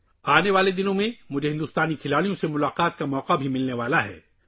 آنے والے دنوں میں مجھے ہندوستانی ٹیم سے بھی ملنے کا موقع ملنے والا ہے